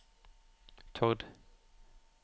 Tord